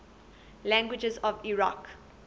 languages of iraq